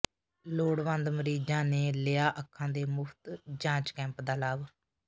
ਲੋੜਵੰਦ ਮਰੀਜ਼ਾਂ ਨੇ ਲਿਆ ਅੱਖਾਂ ਦੇ ਮੁਫ਼ਤ ਜਾਂਚ ਕੈਂਪ ਦਾ ਲਾਭ